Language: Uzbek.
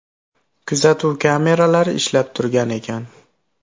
Kuzatuv kameralari ishlab turgan ekan.